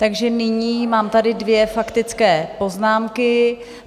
Takže nyní tady mám dvě faktické poznámky.